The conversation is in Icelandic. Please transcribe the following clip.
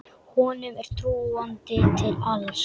Honum er trúandi til alls.